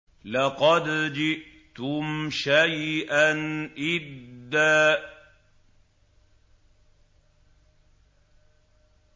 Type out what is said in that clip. لَّقَدْ جِئْتُمْ شَيْئًا إِدًّا